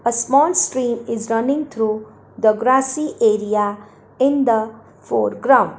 a small stream is running through the grassy area in the foreground.